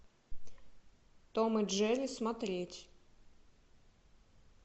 том и джерри смотреть